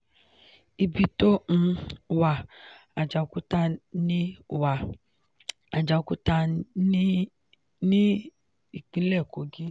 ibi tó um wà: àjàòkúta ní wà: àjàòkúta ní ìpínlẹ̀ kogí